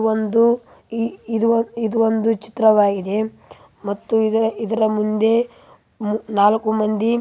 ಒಂದು ಇದು ಒಂದು ಚಿತ್ರವಾಗಿದೆ ಮತ್ತು ಇದರ ಮುಂದೆ ನಾಲ್ಕು ಮಂದಿ.